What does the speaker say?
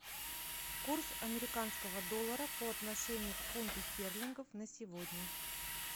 курс американского доллара по отношению к фунту стерлингов на сегодня